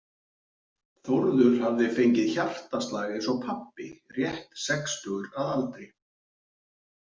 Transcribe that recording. Þórður hafði fengið hjartaslag eins og pabbi, rétt sextugur að aldri.